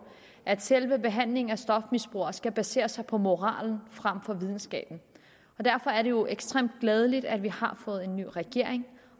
at selve behandlingen af stofmisbrugere skal basere sig på moralen frem for videnskaben og derfor er det jo ekstremt glædeligt at vi har fået en ny regering